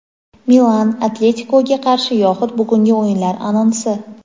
"Milan" "Atletiko"ga qarshi yoxud bugungi o‘yinlar anonsi.